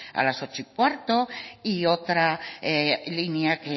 a las ocho quince y otra línea que